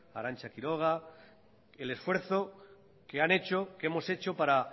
a arantza quiroga el esfuerzo que han hecho que hemos hecho para